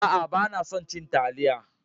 A'a, ban son ci talliya.